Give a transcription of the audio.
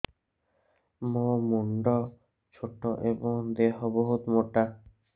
ମୋ ମୁଣ୍ଡ ଛୋଟ ଏଵଂ ଦେହ ବହୁତ ମୋଟା